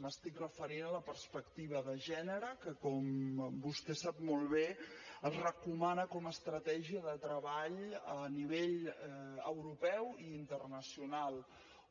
m’estic referint a la perspectiva de gènere que com vostè sap molt bé es recomana com a estratègia de treball a nivell europeu i internacional